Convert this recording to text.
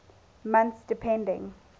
months depending